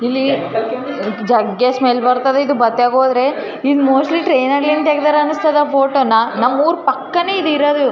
ಹಸಿರು ಚಿಕ್ಕಚಿಕ್ಕ ಗಿಡಗಳು ಮತ್ತು ಹುಲ್ಲನ್ನು ನೋಡಬಹುದು .